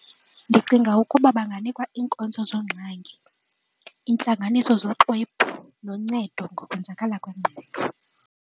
Ndicinga ukuba banganikwa iinkonzo zeengxaki, intlanganiso zoxwebhu noncedo ngokwenzakala kwengqondo.